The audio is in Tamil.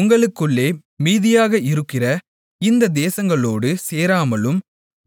உங்களுக்குள்ளே மீதியாக இருக்கிற இந்த தேசங்களோடு சேராமலும்